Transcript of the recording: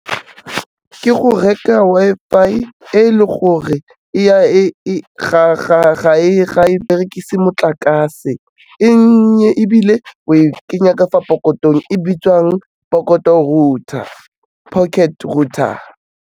Ke go reka Wi-Fi e le gore ga e berekise motlakase, e nnye ebile o e kenya ka fa pokotong e bitswang pokoto router, pocket router.